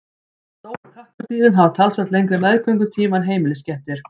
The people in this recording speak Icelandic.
stóru kattardýrin hafa talsvert lengri meðgöngutíma en heimiliskettir